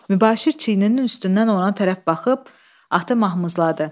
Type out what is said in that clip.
Mübaşir çiyninin üstündən ona tərəf baxıb, atı mahmızladı.